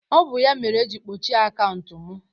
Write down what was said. ọ bụ ya mere eji kpọchie akaụntụ m